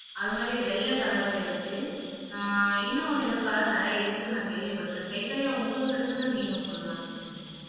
அது மாதிரி வெள்ளை கலரும் இருக்கு ஆஹ் இன்னும் எதோ கலர் நிறைய இருக்குன்னு நான் கேள்விப்பட்டிருக்கேன் சைதன்யா உங்களுக்கு தெரிஞ்சதை நீங்களும் சொல்லலாம் சைதன்யா